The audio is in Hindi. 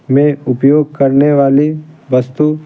में उपयोग करने वाली वस्तु--